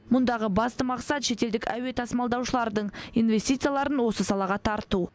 мұндағы басты мақсат шетелдік әуе тасымалдаушылардың инвестицияларын осы салаға тарту